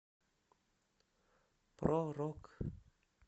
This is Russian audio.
про рок